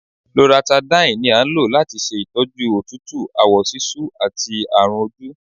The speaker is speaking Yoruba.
Loratadine ní a ń lò latí ṣe ìtọ́jú òtútù, àwọ sisú àti àrùn ojú.